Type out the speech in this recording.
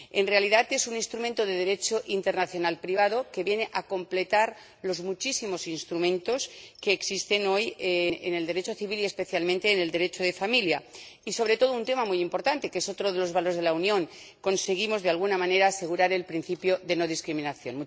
En realidad, es un instrumento de Derecho internacional privado que viene a completar los muchísimos instrumentos que existen hoy en el Derecho civil y, especialmente, en el Derecho de familia, y, sobre todo, un tema muy importante que es otro de los valores de la Unión conseguimos, de alguna manera, asegurar el principio de no discriminación.